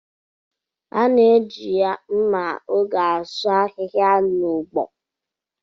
A na-eji mma ogẹ̀ asụ ahihia n'ugbo.